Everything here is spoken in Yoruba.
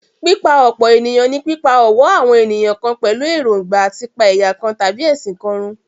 Pípa-ọ̀pọ̀-ènìyàn ní pípá ọ̀wọ́ àwọn ènìyàn kan pẹ̀lú èròńgbà à ti pa ẹ̀yà kan tàbí ẹ̀sìn kan run.